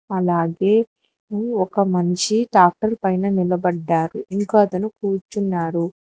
అలాగే ఒక మనిషి ట్రాక్టర్ పైన నిలబడ్డారు ఇంకో అతను కూర్చున్నారు.